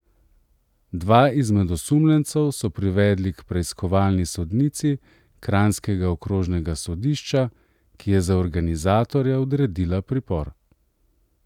Dva izmed osumljencev so privedli k preiskovalni sodnici kranjskega okrožnega sodišča, ki je za organizatorja odredila pripor.